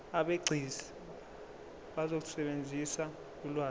abegcis bazosebenzisa ulwazi